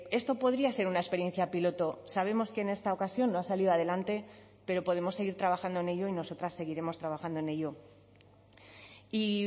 esto podría ser una experiencia piloto sabemos que en esta ocasión no ha salido adelante pero podemos seguir trabajando en ello y nosotras seguiremos trabajando en ello y